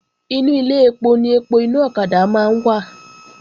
Inú Ilé ẹpo ni ẹpo inú ọ̀kadà máa ń wà